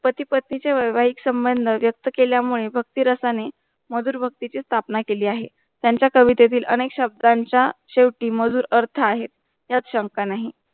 पती - पत्नी चा व्यावहारिक संबंध व्यक्त केल्या मनही भक्ती रसाने मधुर भक्ती च्या स्थापना केल्या आहे त्यांचा कवितेतील अनेक शब्दयांचा शेवटी मधुर अर्थ आहे या शंका नाही.